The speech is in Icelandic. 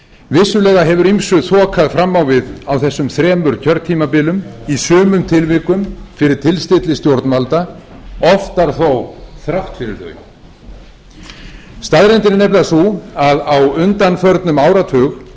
vissulega hefur ýmsu þokað fram á við á þessum þremur kjörtímabilum í sumum tilvikum fyrir tilstilli stjórnvalda oftar þó þrátt fyrir þau staðreyndin er nefnilega sú að á undanförnum áratug